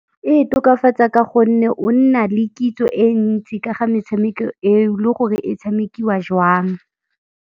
E tokafatsa ka gonne o nna le kitso e ntsi ka ga metshameko eo le gore e tshamekiwa jwang.